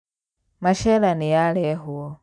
Machera nĩyarehwo